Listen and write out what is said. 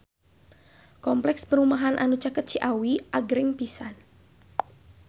Kompleks perumahan anu caket Ciawi agreng pisan